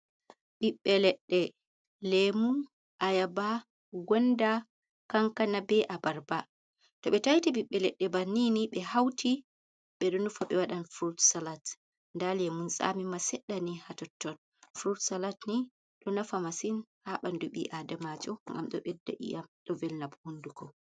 "Ɓiɓbe ledde" lemun, ayaba, gonda, kankana, be abarba to ɓe taiti bibbe ledde bannin ni ɓe hauti ɓe ɗo nufa ɓe wadan furot salat da lemum tsami ma seddani ha tottot furot salat ni ɗo nafa masin ha ɓandu ɓi adamajo ngam ɗo ɓedda iyam ɗo ɓo velna hunduko.